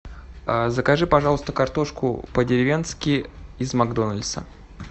закажи пожалуйста картошку по деревенски из макдональдса